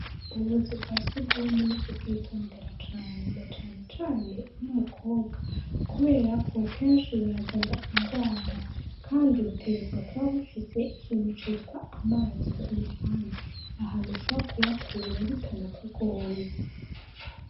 Ububuzu bwasugwumwe nukubwitondera cane nacanecane ur'umukobwa kuberako kenshi burazana ingwara kandi butegerezwa kuba bufise ikintu citwa amazi k'uruhande ahantu ushobora kuyakura bitanakugoye.